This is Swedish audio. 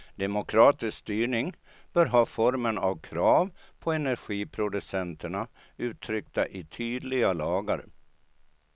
Demokratisk styrning bör ha formen av krav på energiproducenterna, uttryckta i tydliga lagar.